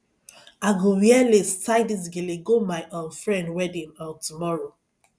i go wear lace tie dis gele go my um friend wedding um tomorrow